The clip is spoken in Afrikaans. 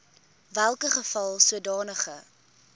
welke geval sodanige